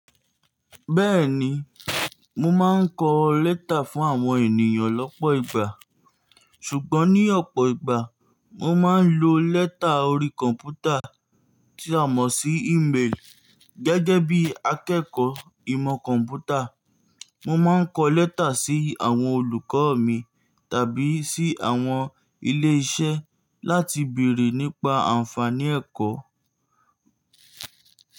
Bẹ́ẹ̀ni, mo máa ń kọ lẹ́tà fún àwọn ènìyàn lọ́pọ̀ ìgbà, ṣùgbọ́n ní ọ̀pọ̀ ìgbà mo máa ń lo lẹ́tà orí kọ̀ǹpútà tí a mọ̀ sí íméli. Gẹ́gẹ́ bí akẹ́kọ̀ọ́ ìmọ̀ kọ̀ǹpútà, mo máa ń kọ lẹ́tà sí àwọn olùkọ́ mi tàbí sí àwọn ilé-iṣẹ́ láti bèrè nípa àǹfààní ẹ̀kọ́.